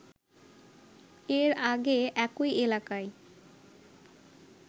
এর আগে একই এলাকায়